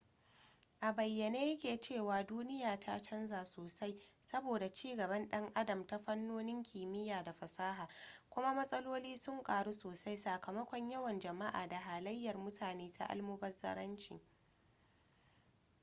a bayyane ya ke cewa duniya ta canza sosai saboda ci gaban dan adam a fannonin kimiyya da fasaha kuma matsaloli sun karu sosai sakamakon yawan jama'a da halayyar mutane ta almubazzaranci